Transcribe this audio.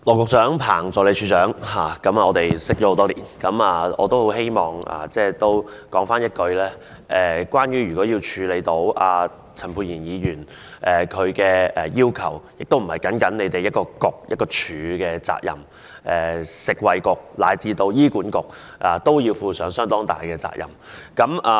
羅局長、彭助理署長，我們認識多年，我很希望說一句，如果要處理陳沛然議員的要求，不僅是一個政策局及一個署的責任，食物及衞生局以至醫院管理局都要負上相當大的責任。